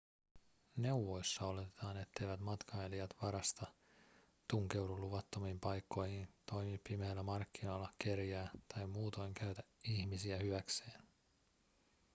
neuvoissa oletetaan etteivät matkailijat varasta tunkeudu luvattomiin paikkoihin toimi pimeillä markkinoilla kerjää tai muutoin käytä ihmisiä hyväkseen